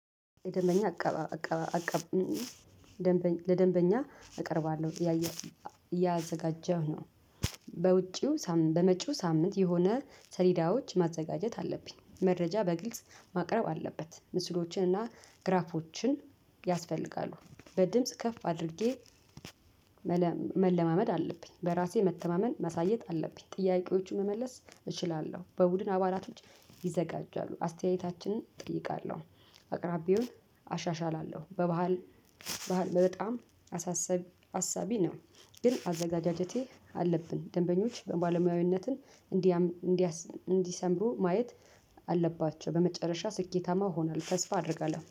ደንበኛ አቀባ አቀባ አቀባ ደንበኛ ለደንበኛ እቀርባለሁ እያየሁ እያዘጋጀሁ ነው። በውጪው በመጪው ሳምንት የሆነ ሰሊዳዎች ማዘጋጀት አለብኝ። መረጃ በግልጽ ማቅረብ አለበት። ምስሎችንና ግራፎችን ያስፈልጋሉ። በድምጽ ከፍ አድርጌ። መለማመድ አለብኝ በራሴ መተማመን መሳየት አለብኝ። ጥያቄዎቹን መመለስ እችላለሁ። በቡድን አባላቶች ይዘጋጃሉ። አስተያየታችንን እጠይቃለሁ አቅራቢውን አሻሽላለሁ። በባህል በባህል በጣም አሳሳቢ አሳቢ ነው። ግን አዘጋጃጀቴ አለብን ደንበኞች በባለሙያዊነትን እንዲሰምሩ ማየት አለባቸው። በመጨረሻ ስኬታማ እሆናለው ተስፋ አደርጋለሁ